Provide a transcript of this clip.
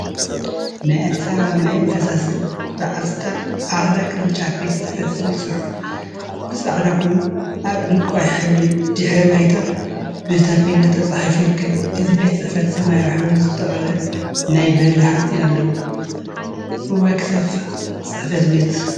ናይ አዲስ አበባ ማይን ፈሳሲን በዓል ስልጣን አራዳ ቅርንጫፍ ፅ/ቤት ዝብል ፅሑፍ ብፃዕዳ ኮይኑ አብ ዕንቋይ ሕብሪ ድሕረ ባይታ ብታፔላ ተፃሒፉ ይርከብ፡፡ እዚ ፅሕፈት ቤት ሰማያዊ ሕብሪ ዝተቀብአ ናይ በሪ ሓፂን አለዎ፡፡ እዋይ ክሰፍሕ ፅ/ቤት!